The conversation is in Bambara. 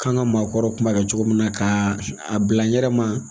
K'an ka maakɔrɔw tun b'a kɛ cogo min na ka a bila yɛrɛ ma